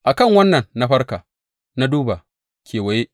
A kan wannan na farka na duba kewaye.